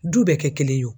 Du bɛɛ kɛ kelen ye o